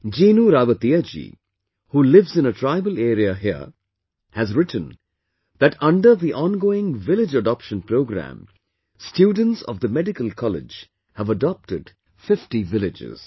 Jinu Rawatiya ji, who lives in a tribal area here, has written that under the ongoing village adoption program, students of the medical college have adopted 50 villages